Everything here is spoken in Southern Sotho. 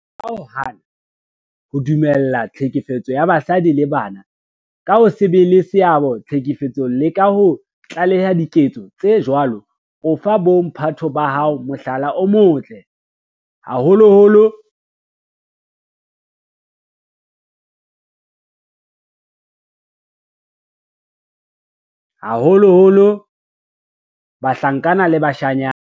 Ka ho hana ho dumella tlhekefetso ya basadi le bana, ka ho se be le seabo tlhekefetsong le ka ho tlaleha diketso tse jwalo, o fa bo mphato ba hao mohlala o motle, haholoholo bahlankana le bashanyana.